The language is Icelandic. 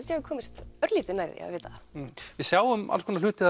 ég hafi komist örlítið nær því að vita það við sjáum alls konar hluti